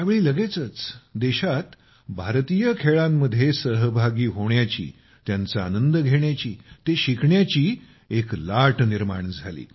त्यावेळी लगेचच देशात भारतीय खेळांमध्ये सहभागी होण्याची त्यांचा आनंद घेण्याची ते शिकण्याची एक लाट निर्माण झाली